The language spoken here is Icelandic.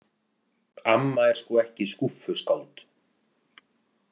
Amma er sko ekki skúffuskáld.